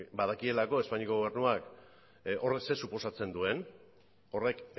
badakielako espainiako gobernuak horrek zer suposatzen duen horrek